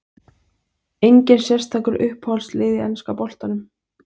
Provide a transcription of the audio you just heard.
Enginn sérstakur Uppáhalds lið í enska boltanum?